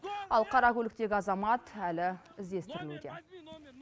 ал қара көліктегі азамат әлі іздестірілуде